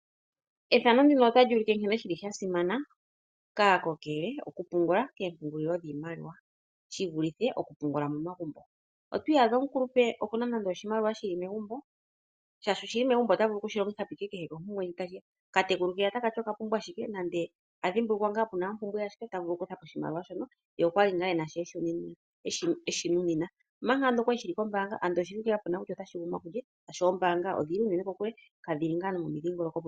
Nkene shi li sha simana unene kaakokele okupungula koompungulilo dhiimaliwa, shi vulithe okupungula momagumbo. Otwiiyadha omukulupe oku na nande oshimaliwa shi li megumbo, shaashi oshi li megumbo ota vulu ashike okushi longitha po kehe kompumbwe ndji ta. Okatekulu take ya taka to oka pumbwa ashike nande a dhimbulukwa ngaa kutya oku na ompumbwe ya sha ta vulu oku kutha poshimaliwa shono, ye okwa li ngaa e na sho e shi nunina. Omanga ando okwa li shi li kombaanga, ando oshi ngaa kapu na kutya otashi gumwa kulye shaashi ombaanga odhi li unene kokule. Kadhi li ngaa nomomidhingoloko